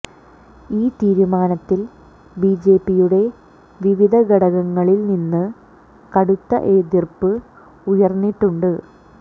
ഈ തീരുമാനത്തിൽ ബിജെപിയുടെ വിവിധ ഘടകങ്ങളിൽ നിന്ന് കടുത്ത എതിർപ്പ് ഉയർന്നിട്ടുണ്ട്